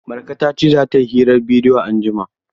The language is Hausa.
Marka ta ce za ta yi hirar bidiyo anjima.